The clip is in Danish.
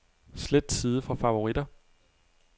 Slet side fra favoritter.